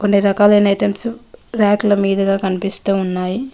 అన్నీ రకాలైన ఐటమ్సు ర్యాకు ల మీదుగా కనిపిస్తూ ఉన్నాయి.